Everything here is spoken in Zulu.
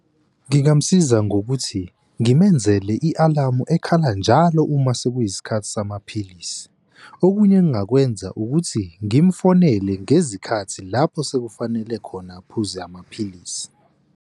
Ngingamusiza ngokuthi ngimenzele i-alamu ekhala njalo uma sekuyisikhathi samaphilisi. Okunye engingakwenza ukuthi ngimufonele ngezikhathi lapho sekufanele khona aphuze amaphilisi.